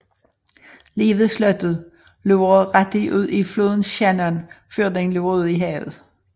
Lige ved slottet løber Ratty ud i floden Shannon før den løber ud i havet